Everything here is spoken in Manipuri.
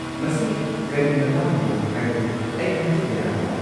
ꯃꯁꯤ ꯀꯔꯤ ꯃꯇꯥꯡꯒꯤꯅꯣ ꯍꯥꯏꯕꯗꯨ ꯑꯩ ꯈꯪꯖꯕ ꯌꯥꯒꯗ꯭ꯔꯥ?